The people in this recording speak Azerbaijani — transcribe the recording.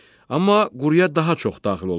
Amma quruya daha çox daxil olmuşdur.